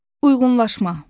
Uyğunlaşma.